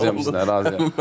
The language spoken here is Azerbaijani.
Razıyam sizlə, razıyam.